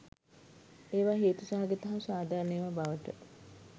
ඒවා හේතු සහගත හා සාධාරණ ඒවා බවට